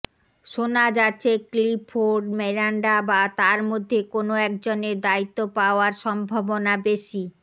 শোনা যাচ্ছে ক্লিফোর্ড মিরান্ডা বা তার মধ্যে কোনও একজনের দায়িত্ব পাওয়ার সম্ভাবনা বেশি